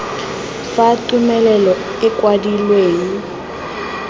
fa tumelelo e e kwadilweng